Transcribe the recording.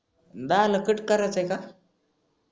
दहा ला कट करायचं आहे का?